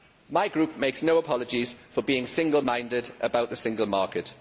My group makes no apologies for being single minded about the single market.